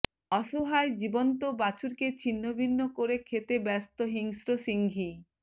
অসহায় জীবন্ত বাছুরকে ছিন্নভিন্ন করে খেতে ব্যস্ত হিংস্র সিংহী